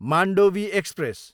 Mandovi express